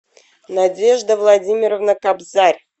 надежда владимировна кобзарь